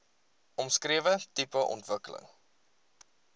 omskrewe tipe ontwikkeling